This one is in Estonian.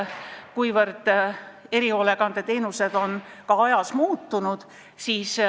Erihoolekandeteenused on ka ajas muutunud.